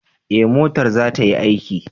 Ee, motar za ta yi aiki.